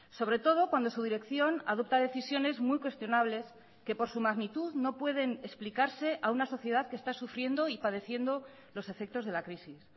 sobre todo cuando su dirección adopta decisiones muy cuestionables que por su magnitud no pueden explicarse a una sociedad que está sufriendo y padeciendo los efectos de la crisis